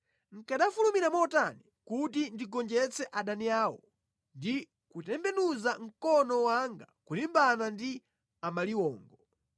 nʼkanafulumira motani kuti ndigonjetse adani awo ndi kutembenuza mkono wanga kulimbana ndi amaliwongo!